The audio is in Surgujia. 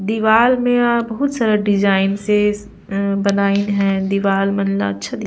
दीवाल में यहाँ बहुत सारा डिज़ाइन से अ बनाइन हय दीवार मन ला अच्छा दी --